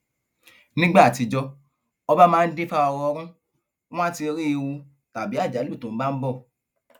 nígbà àtijọ ọba máa ń dìfà ọrọọrún wọn àá ti rí ewu tàbí àjálù tó bá ń bọ